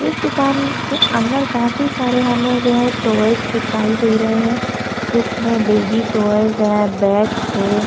एक दुकान के अंदर काफी सारे हमें जो है टॉयज दिखाई दे रहै हैं जिसमें बेबी टॉयज है बैग हैं।